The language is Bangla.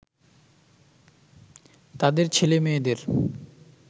তাদের ছেলে-মেয়েদের